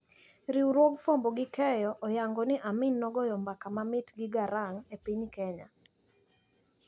Riwruog fwambo gi keyo oyango ni Amin nogoyo mbaka mamit gi Garang` e piny Kenya.